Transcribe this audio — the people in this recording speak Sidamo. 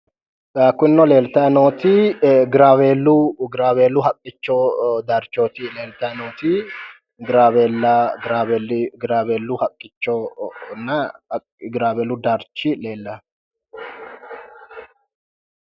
ee kunino leeltayi nooti ee giraaweellu haqqicho darchooti leeltayi nooti giraaweellu haqqichonna giraaweellu darchi leelanno.